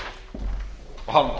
og hananú